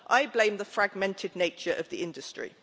I blame the fragmented nature of the industry.